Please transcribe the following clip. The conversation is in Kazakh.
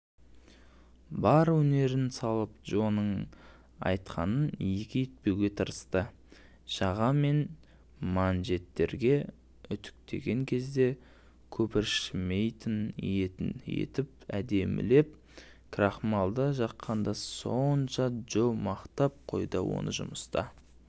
бар өнерін салып джоның айтқанын екі етпеуге тырысты жаға мен манжеттерге үтіктеген кезде көпіршімейтін етіп әдемілеп крахмалды жаққаны сонша джо мақтап қойды оныжұмыста